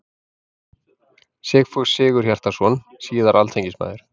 Sigfús Sigurhjartarson, síðar alþingismaður.